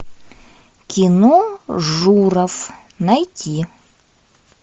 кино журов найти